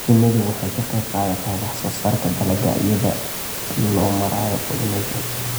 Shinnidu waxay ka qayb qaadataa wax soo saarka dalagga iyada oo loo marayo pollination.